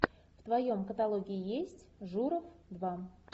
в твоем каталоге есть журов два